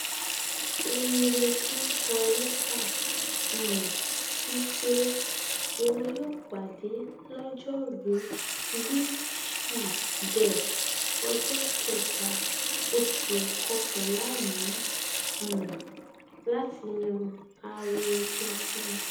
oyelekin kọ lẹtà um sí pé wọn yóò pàdé lọjọrùú wíṣídẹẹ ọjọ kẹta oṣù kọkànlá yìí um láti yan aree tuntun